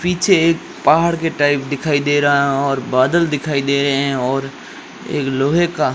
पीछे एक पहाड़ के टाइप दिखाई दे रहा है और बादल दिखाई दे रहे हैं और एक लोहे का--